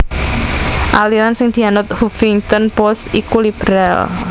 aliran sing dianut Huffington Post iku liberal